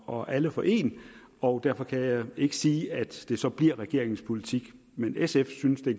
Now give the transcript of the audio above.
og alle for en og derfor kan jeg ikke sige at det så bliver regeringens politik men sfs synes at